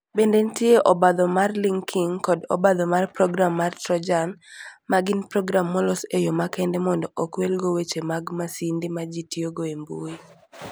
Bende nitie obadho mar linking, kod obadho mar program mar Trojan, ma gin program molos e yo makende mondo okwelgo weche mag masinde ma ji tiyogo e mbui.